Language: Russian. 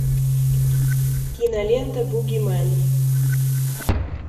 кинолента бугимен